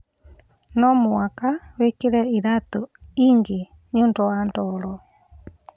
No mũhaka wĩkĩre iratũ ingĩ nĩũnd wa ndoro